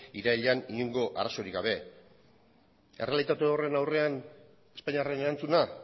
irailean inongo arazorik gabe errealitate horren aurrean espainiarren erantzuna